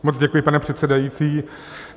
Moc děkuji, pane předsedající.